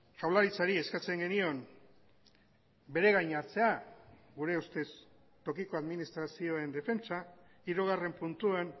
jaurlaritzari eskatzen genion bere gain hartzea gure ustez tokiko administrazioen defentsa hirugarren puntuan